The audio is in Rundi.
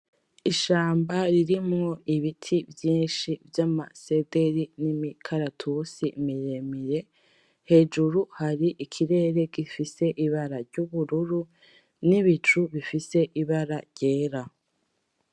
Ishamba ririmwo ibiti vyinshi vyama sederi n'imikaratusi miremire. Hejuru hari ikirere gifise ibara ry'ubururu n'ibicu bifise ibara ryera.